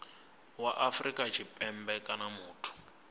wa afrika tshipembe kana muthu